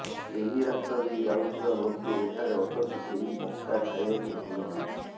ଏହି ରାସ୍ତା ଦେଇ ଯାଉଥିବା ଲୋକେ ଏଠାରେ ଅଟକି ଏହି ମକା ଖାଇବାକୁ ଭୁଲୁ ନାହାନ୍ତି